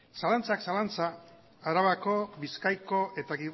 zalantzak zalantza arabako bizkaiko eta